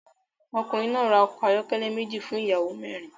Ọkùnrin náà ra ọkọ̀ ayọ́kẹ́lẹ́ méjì fún ìyàwó mẹ́rin